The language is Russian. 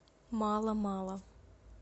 мало мало